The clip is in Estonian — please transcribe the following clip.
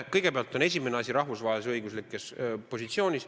Kõigepealt on asi rahvusvahelises õiguslikus positsioonis.